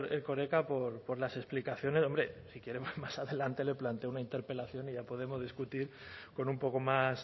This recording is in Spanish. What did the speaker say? erkoreka por las explicaciones hombre si quiere más adelante le planteo una interpelación y ya podemos discutir con un poco más